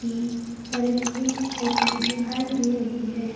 की सर्विसिंग होती दिखाई दे रही है।